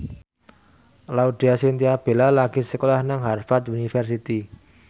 Laudya Chintya Bella lagi sekolah nang Harvard university